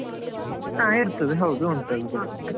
ಹಾ ಇರ್ತದೆ ಹೌದು ಉಂಟು, ಅದು ಕೂಡ ಉಂಟು.